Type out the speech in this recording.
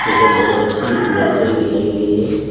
यह बहुत अच्छी नर्सरी दिखाई गई है।